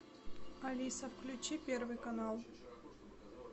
алиса включи первый канал